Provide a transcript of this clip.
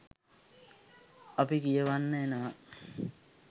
අපි කියවන්න එනවා